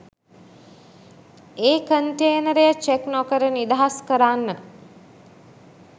ඒ කන්ටේනරය චෙක් නොකර නිදහස් කරන්න